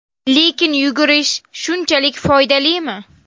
Lekin yugurish shunchalik foydalimi?